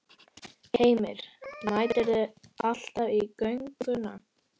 Heimir: Mætirðu alltaf í gönguna?